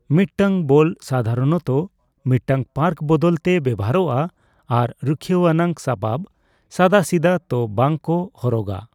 ᱢᱤᱫᱴᱟᱝ ᱵᱚᱞ ᱥᱟᱫᱷᱟᱨᱚᱱᱛᱚ ᱢᱤᱫᱴᱟᱝ ᱯᱟᱨᱠ ᱵᱟᱫᱟᱞᱛᱮ ᱵᱮᱣᱦᱟᱨᱚᱜᱼᱟ, ᱟᱨ ᱨᱩᱠᱷᱤᱭᱟᱣ ᱟᱱᱟᱜ ᱥᱟᱯᱟᱵᱽ ᱥᱟᱫᱟᱥᱤᱫᱟᱹ ᱛᱚ ᱵᱟᱝ ᱠᱚ ᱦᱚᱨᱚᱜᱼᱟ ᱾